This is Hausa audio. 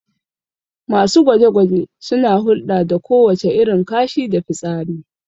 Masu gwaje-gwaje suna hulɗa da kowace irin kashi da fitsari